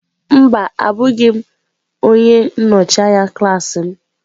Mba, abụghị m onye nnọchi anya klaasị m.